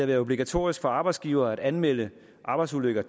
været obligatorisk for arbejdsgivere at anmelde arbejdsulykker